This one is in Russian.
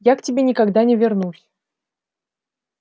я к тебе никогда не вернусь